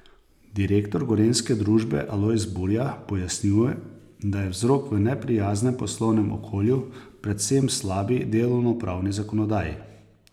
Direktor gorenjske družbe Alojz Burja pojasnjuje, da je vzrok v neprijaznem poslovnem okolju, predvsem slabi delovnopravni zakonodaji.